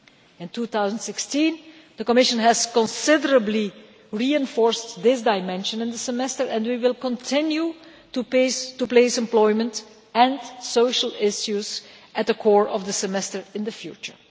In 2016 the Commission has considerably reinforced this dimension in the European Semester and we will continue to place employment and social issues at the core of the semester in the future.